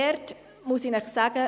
Dazu muss ich Ihnen sagen: